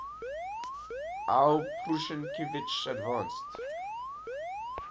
aw prusinkiewicz advanced